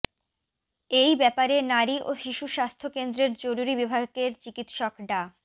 এই ব্যাপারে নারী ও শিশু স্বাস্থ্য কেন্দ্রের জরুরি বিভাগের চিকিৎসক ডা